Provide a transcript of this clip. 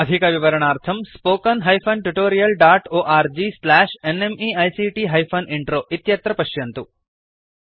अधिकविवरणार्थं spoken hyphen tutorial dot org slash NMEICT hyphen intro इत्यत्र पश्यन्तु